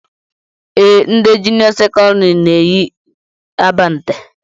Ee, ndị junịọ sekọndịrị na-eyi abante